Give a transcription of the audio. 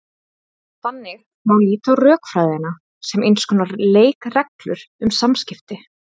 Þannig má líta á rökfræðina sem eins konar leikreglur um samskipti.